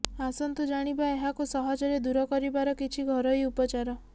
ଆସନ୍ତୁ ଜାଣିବା ଏହାକୁ ସହଜରେ ଦୂର କରିବାର କିଛି ଘରୋଇ ଉପଚାର